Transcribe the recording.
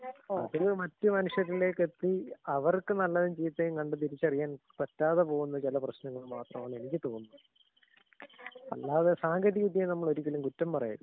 ആഹ്. പിന്നേ മറ്റു മനുഷ്യരിലേക്ക് എത്തി അവർക്ക് നല്ലതും ചീത്തയും കണ്ട് തിരിച്ചറിയാൻ പറ്റാതെ പോവുന്ന ചില പ്രശ്നങ്ങൾ മാത്രായാണ് എനിക്ക് തോന്നുന്നത് അല്ലാതെ സാങ്കേതിക വിദ്യയെ നമ്മളൊരിക്കലും കുറ്റം പറയരുത്.